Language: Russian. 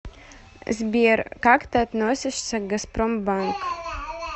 сбер как ты относишься к газпромбанк